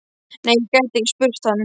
Nei, ég gæti ekki spurt hann.